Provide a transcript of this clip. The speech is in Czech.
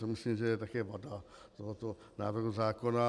To myslím, že je také vada tohoto návrhu zákona.